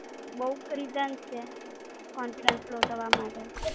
બોવ cressons છે, confidence લો થાવા માટે.